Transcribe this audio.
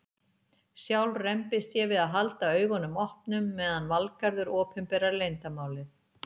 Sjálf rembist ég við að halda augunum opnum meðan Valgarður opinberar leyndarmálið.